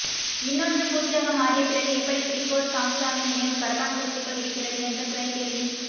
இன்னொன்று பூச்சியாக மாறியபிறகு எப்படி கிரிகோர் சாம்சாவின் நினைவு கரப்பான்பூச்சிக்குள் இருக்கிறது என்ற துணைக்கேள்வி